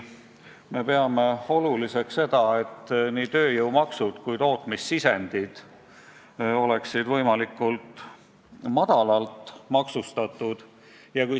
Me peame oluliseks seda, et nii tööjõud kui ka tootmissisendid oleksid võimalikult madalalt maksustatud.